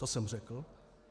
To jsem řekl.